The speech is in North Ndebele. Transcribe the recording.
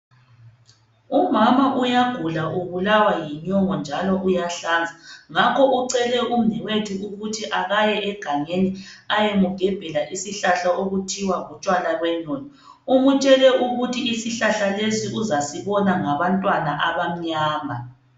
Umama uyagula ubulawa yinyongo njalo uyahlanza. Ngakho ucele umnewethu ukuthi akaye egangeni ayemgembela isihlahla okuthiwa lutshwalaqondo. Umtshele ukuthi isihlahla lesi uzasibona ngabantwana abamnyama.